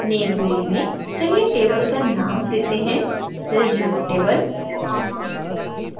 name field में चलिए table का name देते है resume table